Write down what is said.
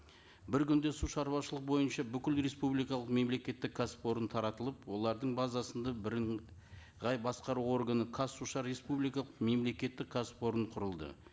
бір күнде су шаруашылық бойынша бүкіл республикалық мемлекеттік кәсіпорын таратылып олардың базасында бірыңғай басқару органы қазсушар республикалық мемлекеттік кәсіпорын құрылды